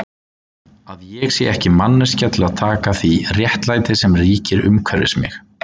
Að ég sé ekki manneskja til að taka því réttlæti sem ríkir umhverfis mig?